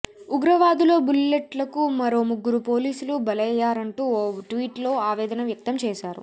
ఉగ్రవాదుల బుల్లెట్లకు మరో ముగ్గురు పోలీసులు బలయ్యారంటూ ఓ ట్వీట్లో ఆవేదన వ్యక్తం చేశారు